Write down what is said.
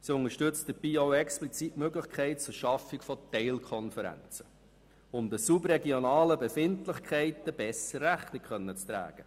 Sie unterstützt explizit auch die Möglichkeit zur Schaffung von Teilkonferenzen, um den subregionalen Befindlichkeiten besser Rechnung tragen zu können.